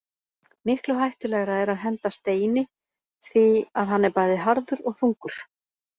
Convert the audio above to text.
Miklu hættulegra er að henda Steini því að hann er bæði harður og þungur.